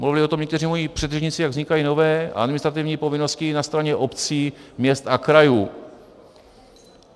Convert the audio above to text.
Mluvili o tom někteří moji předřečníci, jak vznikají nové administrativní povinnosti na straně obcí, měst a krajů.